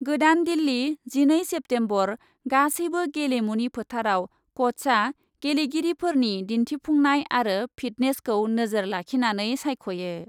गोदान दिल्ली, जिनै सेप्तेम्बर, गासैबो गेलेमुनि फोथारआव क'चआ गेलेगिरिफोरनि दिन्थिफुंनाय आरो फिटनेसखौ नोजोर लाखिनानै सायख'यो।